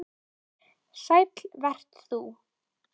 Sæll vert þú